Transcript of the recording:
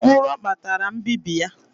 Nro kpatara mbibi ya